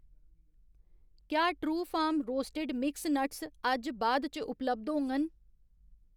क्या Truefarm roasted mix nuts अज्ज बाद च उपलब्ध होङग ?